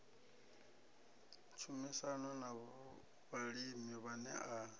tshumisano na vhalimi vhane a